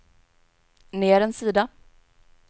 ner en sida